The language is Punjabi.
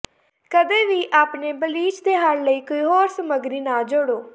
ਕਦੇ ਵੀ ਆਪਣੇ ਬਲੀਚ ਦੇ ਹੱਲ ਲਈ ਕੋਈ ਹੋਰ ਸਮੱਗਰੀ ਨਾ ਜੋਡ਼ੋ